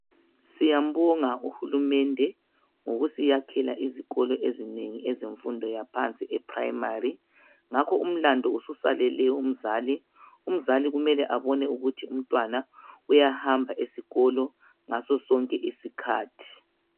Siyambonga uhulumende ,ngokusiyakhela izikolo ezinengi. Ezenfundo yaphansi eprimary ,ngakho umlandu ususalele umzali. Umzali kumele abone ukuthi umntwana uyahamba esikolo ngasosonke isikhathi.